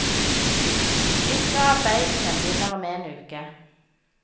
Disse arbeidene begynner om en uke.